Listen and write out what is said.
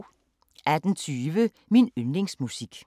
18:20: Min yndlingsmusik